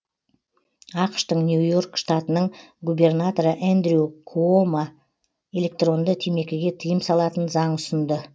ақш тың нью и орк штатының губернаторы эндрю куомо электронды темекіге тыйым салатын заң ұсынды